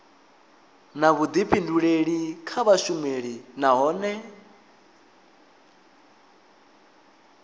na vhuḓifhinduleli kha vhashumi nahone